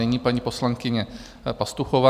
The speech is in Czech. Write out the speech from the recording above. Nyní paní poslankyně Pastuchová.